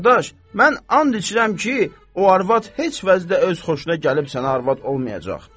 Qardaş, mən and içirəm ki, o arvad heç vəcdə öz xoşuna gəlib sənə arvad olmayacaq.